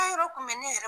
yɔrɔ kun bɛ ne yɛrɛ